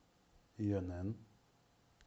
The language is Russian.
инн